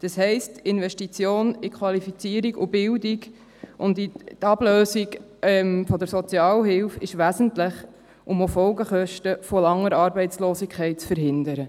Das heisst, Investition in Qualifizierung und Bildung und in die Ablösung der Sozialhilfe ist wesentlich, um auch Folgekosten von langer Arbeitslosigkeit zu verhindern.